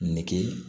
Nege